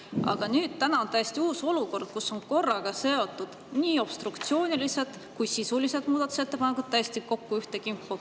Aga täna on täiesti uus olukord, kus obstruktsioonilised ja sisulised muudatusettepanekud on ühte kimpu kokku seotud.